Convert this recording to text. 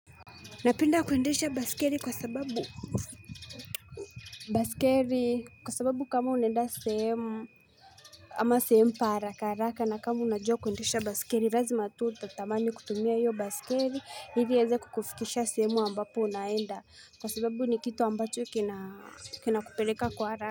Napenda kuendesha baiskeli kwa sababu baiskeli kwa sababu kama unaenda sehemu Ama sehemu pa harakaharaka na kama unajua kuendesha baiskeli lazima tu utatamani kutumia hio baiskeli ili iweze kukufikisha sehemu ambapo unaenda kwa sababu ni kitu ambacho kina kina kupeleka kwa haraka.